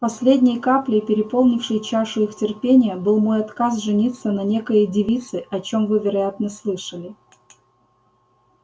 последней каплей переполнившей чашу их терпения был мой отказ жениться на некоей девице о чём вы вероятно слышали